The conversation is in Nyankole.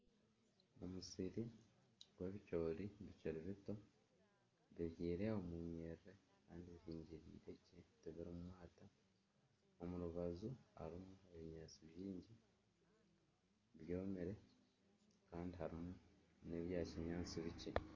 Omusiri gw'ebicoori bikiri bito, bibyirwe omu nyiriri kandi bihingirire gye tibirimu mwata. Omu rubaju harimu ebinyaatsi bingi byomire kandi hariho n'ebya kinyaantsi bikye.